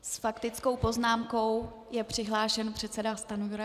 S faktickou poznámkou je přihlášen předseda Stanjura.